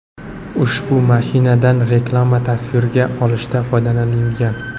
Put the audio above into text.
Ushbu mashinadan reklama tasvirga olishda foydalanilgan.